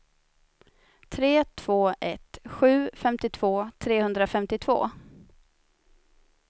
tre två ett sju femtiotvå trehundrafemtiotvå